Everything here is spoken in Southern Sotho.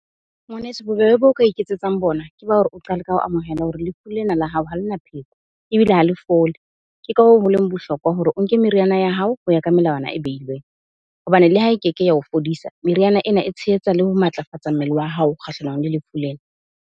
Ngwaneso bobebe bo ka iketsetsang bona, ke ba hore o qale ka ho amohela hore lefu lena la hao ha le na pheko ebile ha le fole. Ke ka hoo, holeng bohlokwa hore o nke meriana ya hao ho ya ka melawana e beilweng. Hobane le ha e keke ya o fodisa meriana ena e tshehetsa le ho matlafatsa mmele wa hao kgahlanong le lefu lena.